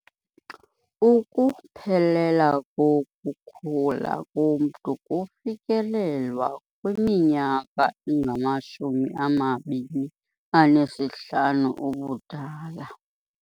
Ukuphelela kokukhula komntu kufikelelwa kwiminyaka engamashumi amabini anesihlanu ubudala.